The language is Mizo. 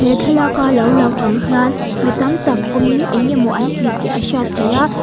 thlalak a lo lang ang hian mi tam tak awmin eng emaw an ti tih a hriat theih a.